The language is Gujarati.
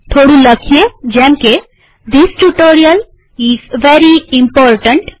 થોડું લખાણ મુકીએ જેમકે this tutorial is very important